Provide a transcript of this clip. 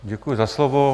Děkuji za slovo.